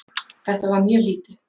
Þetta var mjög lítið.